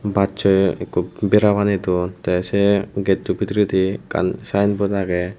bassoi ikko bera banedon tey sei getto bidiredi ekkan sayenbot agey.